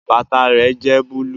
Bàtà rẹ jẹ́ búlúù